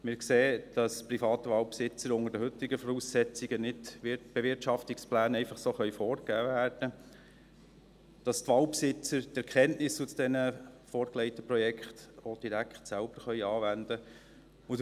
Wir sehen, dass den privaten Waldbesitzern unter den heutigen Voraussetzungen nicht einfach so Bewirtschaftungspläne vorgegeben werden können und dass die Waldbesitzer die Erkenntnisse aus den vorgelegten Projekten auch direkt selber anwenden können.